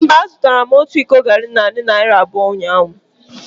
Mba, azụtara m otu iko garri na narị naira abụọ na ise ụnyahụ.